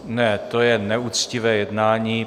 Ne, to je neuctivé jednání!